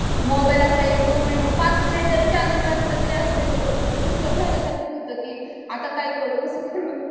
mobile असं एक दोन मिंट पांच मिनटं जरी चार्जिंगला असलं तरी असे होतो डिस्टर्ब झाल्यासारखं होतो की आता काय करू कसं करू